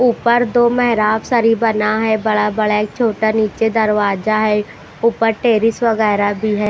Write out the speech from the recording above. ऊपर दो मेहराब सरी बना है बड़ा बड़ा एक छोटा नीचे दरवाजा है ऊपर टेरेस वगैरह भी है।